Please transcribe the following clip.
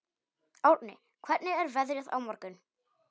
Árni, hvernig er veðrið á morgun?